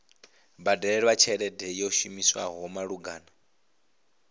badelwa tshelede yo shumiswaho malugana